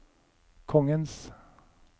kongens